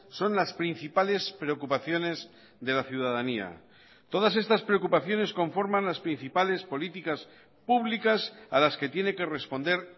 son las principales preocupaciones de la ciudadanía todas estas preocupaciones conforman las principales políticas públicas a las que tiene que responder